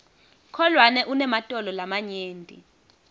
kholwane unematolo lamanyenti